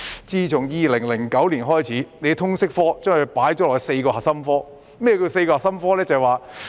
自2009年起，政府將通識教育科列為4個核心科目之一。